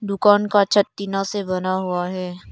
दुकान का छत टीना से बना हुआ है।